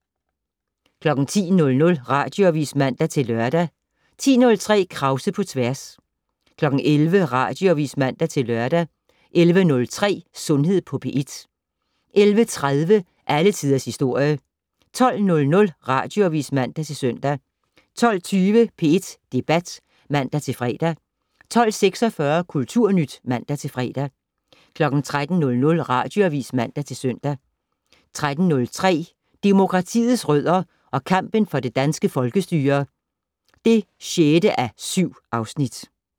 10:00: Radioavis (man-lør) 10:03: Krause på tværs 11:00: Radioavis (man-lør) 11:03: Sundhed på P1 11:30: Alle Tiders Historie 12:00: Radioavis (man-søn) 12:20: P1 Debat (man-fre) 12:46: Kulturnyt (man-fre) 13:00: Radioavis (man-søn) 13:03: Demokratiets rødder og kampen for det danske folkestyre (6:7)